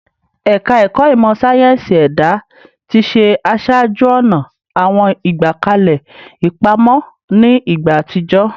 Ẹ̀ka Ẹ̀ka Ìmọ̀ sáyẹ́ǹsì Ẹ̀dá ti ṣe aṣáájú-ọ̀nà àwọn ìgbékalẹ̀ ìpamọ́ ní ìgbà àtijọ́